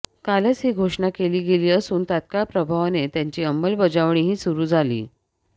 कालच ही घोषणा केली गेली असून तत्काळ प्रभावाने त्याची अंमलबजावणीही सुरु झाली